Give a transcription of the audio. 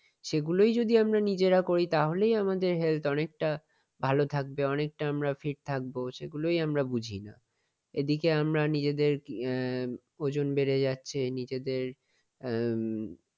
সেগুলোই যদি আমরা নিজেরা করি তাহলেই আমাদের health অনেকটা ভালো থাকবে । অনেকটা আমরা fit থাকবো সেগুলোই আমরা বুঝিনা। এদিকে আমরা নিজেদের আহ ওজন বেড়ে যাচ্ছে নিজেদের উম